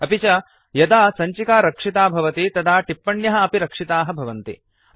अपि च यदा सञ्चिका रक्षिता भवति तदा टिप्पण्यः अपि रक्षिताः भवतिः